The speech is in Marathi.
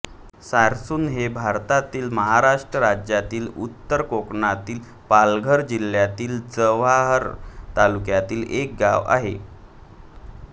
सारसूण हे भारतातील महाराष्ट्र राज्यातील उत्तर कोकणातील पालघर जिल्ह्यातील जव्हार तालुक्यातील एक गाव आहे